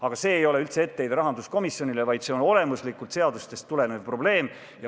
Aga see ei ole üldse etteheide rahanduskomisjonile, vaid see on olemuslikult seadustest tulenev probleem.